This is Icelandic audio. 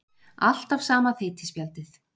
Alltaf sama þeytispjaldið.